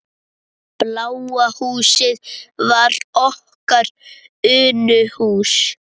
Bláa húsið var okkar Unuhús.